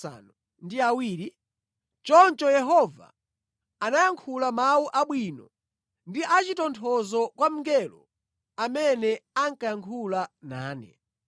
Choncho Yehova anayankhula mawu abwino ndi achitonthozo kwa mngelo amene ankayankhula nane.